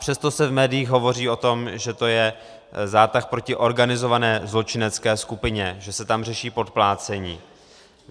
Přesto se v médiích hovoří o tom, že to je zátah proti organizované zločinecké skupině, že se tam řeší podplácení.